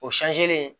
O